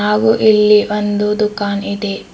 ಹಾಗು ಇಲ್ಲಿ ಒಂದು ದುಖಾನ್ ಇದೆ.